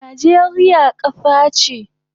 Najeriya kasa che